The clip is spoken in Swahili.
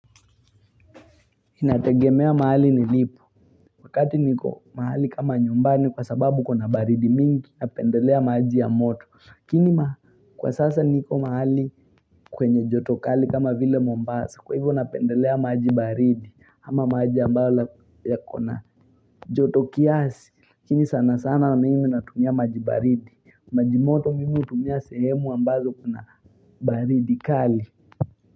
Inategemea mahali nilipo wakati niko mahali kama nyumbani kwa sababu kuna baridi mingi napendelea maji ya moto lakini kwa sasa niko mahali kwenye joto kali kama vile mombasa kwa hivyo napendelea maji baridi ama maji ambayo yako na joto kiasi lakini sana sana mimi natumia maji baridi maji moto mimi hutumia sehemu ambazo kuna baridi kali.